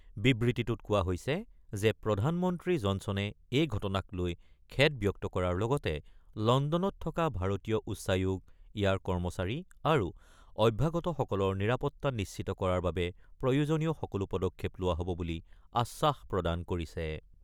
বিবৃতিটোত কোৱা হৈছে যে প্ৰধানমন্ত্ৰী জনছনে এই ঘটনাক লৈ খেদ ব্যক্ত কৰাৰ লগতে লণ্ডনত থকা ভাৰতীয় উচ্চায়োগ, ইয়াৰ কৰ্মচাৰী আৰু অভ্যাগতসকলৰ নিৰাপত্তা নিশ্চিত কৰাৰ বাবে প্ৰয়োজনীয় সকলো পদক্ষেপ লোৱা হ'ব বুলি আশ্বাস প্ৰদান কৰিছে।